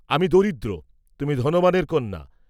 আমি দরিদ্র, তুমি ধনবানের কন্যা।